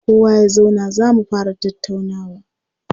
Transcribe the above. Kowa ya zauna za mu fara tattaunawa!